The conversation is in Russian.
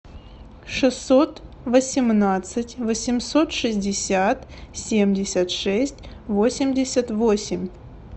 шестьсот восемнадцать восемьсот шестьдесят семьдесят шесть восемьдесят восемь